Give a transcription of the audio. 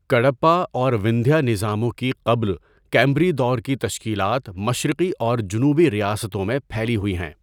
کڈپہ اور وندھیہ نظاموں کی قبل کیمبری دور کی تشکیلات مشرقی اور جنوبی ریاستوں میں پھیلی ہوئی ہیں۔